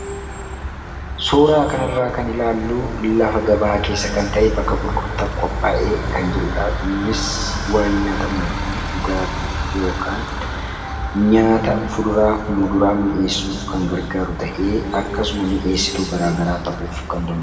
Suura kanarraa kan ilaallu lafa gabaa keessa kan ta'e bakka gurgurtaaf qophaa'e kan jirudha. Innis waan nyaatamuu fi dhugaatiif yookaan nyaata fuduraaf muduraa mi'eessuuf kan gargaaru ta'ee akkasuma mi'eessituu garaa garaa ta'uuf kan danda'udha.